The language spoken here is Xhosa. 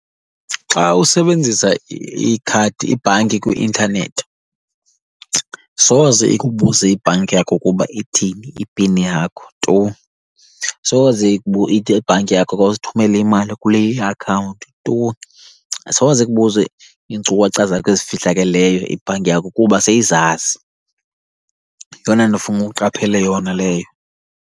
Xa usebenzisa ikhadi, ibhanki kwi-intanethi soze ikubuze ibhanki yakho ukuba ithini ipini yakho tu. Soze ithi ibhanki yakho khawusithumele imali kule iakhawunti tu. Asoze ikubuze iinkcukacha zakho ezifihlakeleyo ibhanki yakho kuba seyizazi. Yeyona nto ofuna uqaphele yona leyo.